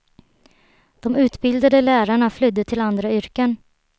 De utbildade lärarna flydde till andra yrken.